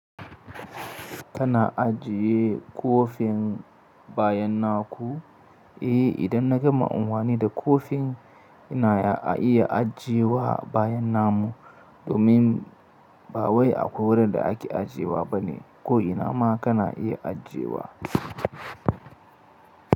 Kana ajiye ƙofin bayan naku? Eh, idan na gama amfani da ƙofin ina iya ajiyewa bayan namu domin ba wai akwai wurin da ake ajiyewa bane. Ko ina ma kana iya ajiyewa.